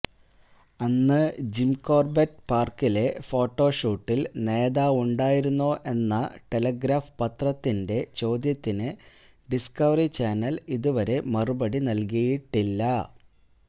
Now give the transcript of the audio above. അന്ന് ജിംകോര്ബെറ്റ് പാര്ക്കിലെ ഫോട്ടോഷൂട്ടില് നേതാവുണ്ടായിരുന്നോ എന്ന ടെലിഗ്രാഫ് പത്രത്തിന്റെ ചോദ്യത്തിന് ഡിസ്കവറി ചാനല് ഇതുവരെ മറുപടി നല്കിയിട്ടില്ല